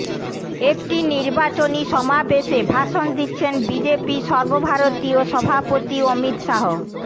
একটি নির্বাচনী সমাবেশে ভাষণ দিচ্ছেন বিজেপির সর্বভারতীয় সভাপতি অমিত শাহ